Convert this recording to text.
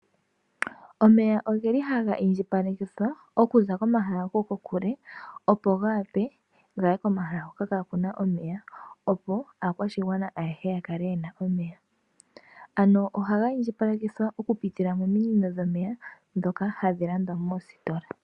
Omeya ogeli haga indjipalekithwa okuza komahala go kokule opo ga wape gaye komahala hoka kaakuna omeya opo aakwashigwana ayehe ya kale yena omeya. Ohaga indjipalekithwa oku pitila mo minino dhomeya dhoka hadhi landwa moositola